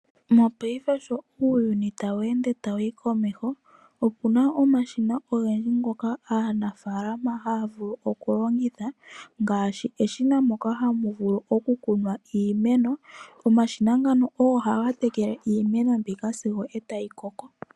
Mopaife sho uuyuni tawu ende tawu yi komeho, opuna omashina ogendji ngoka aanafaalama haya vulu oku longitha ngaashi, eshina ndyoka hamu vulu oku kunwa iimeno. Omashina ngano ohaga vulu oku tekeka iimeno sigo tayi koko.